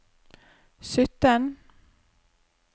sytten